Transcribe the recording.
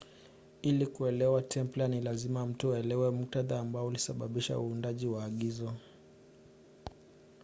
ili kuelewa templar ni lazima mtu aelewe muktadha ambao ulisababisha uundaji wa agizo